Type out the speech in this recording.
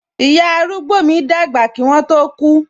Ìyá arúgbó mi dàgbà kí wọn tó ku